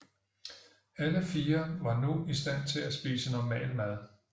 Alle fire var nu i stand til at spise normal mad